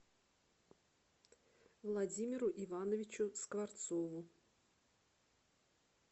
владимиру ивановичу скворцову